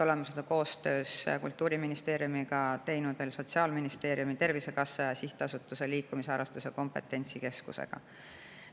Oleme seda Kultuuriministeeriumis teinud koostöös Sotsiaalministeeriumi, Tervisekassa ja Sihtasutusega Liikumisharrastuse Kompetentsikeskus.